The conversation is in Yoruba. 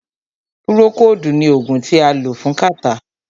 Púrókòodu ní oògùn tí a lò fún kàtá.